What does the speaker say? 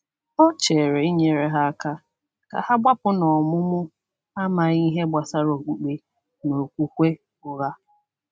Ọ chere inyere ha aka ka ha gbapụ n’ọmụmụ amaghị ihe gbasara okpukpe na okwukwe ụgha.